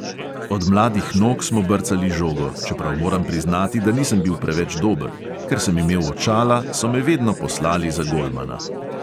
Od mladih nog smo brcali žogo, čeprav moram priznati, da nisem bil preveč dober – ker sem imel očala, so me vedno poslali za golmana.